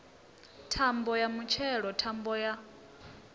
thambo ya mutshelo thambo ya